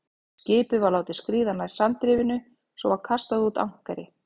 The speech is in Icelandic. Skipið var látið skríða nær sandrifinu, svo var kastað út ankeri.